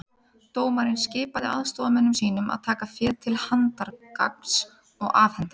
Dómarinn skipaði aðstoðarmönnum sínum að taka féð til handargagns og afhenda